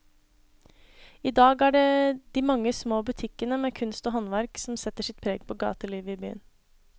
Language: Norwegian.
I dag er det de mange små butikkene med kunst og håndverk som setter sitt preg på gatelivet i byen.